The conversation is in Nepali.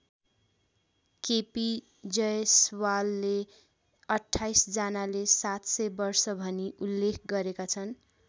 के पी जयसवालले २८ जनाले ७०० वर्ष भनी उल्लेख गरेका छन्।